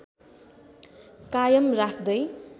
कायम राख्दै